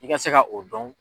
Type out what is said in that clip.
I ka se ka o dɔn.